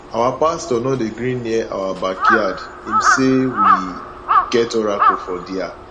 our pastor no dey gree near our backyard im say we get oracle for dia